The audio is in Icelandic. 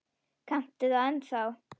Kanntu það ennþá?